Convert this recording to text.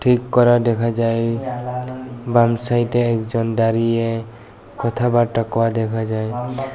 ঠিক করা দেখা যায় বাম সাইডে একজন দাঁড়িয়ে কথাবার্তা কয় দেখা যায়।